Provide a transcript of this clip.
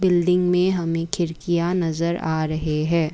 Building में हमें खिड़कियां नजर आ रहे हैं।